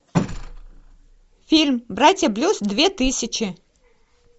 фильм братья блюз две тысячи